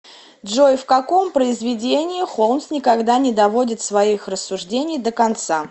джой в каком произведении холмс никогда не доводит своих рассуждений до конца